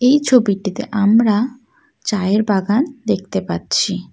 এই ছবিটিতে আমরা চায়ের বাগান দেখতে পাচ্ছি।